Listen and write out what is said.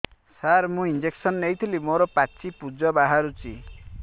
ସାର ମୁଁ ଇଂଜେକସନ ନେଇଥିଲି ମୋରୋ ପାଚି ପୂଜ ବାହାରୁଚି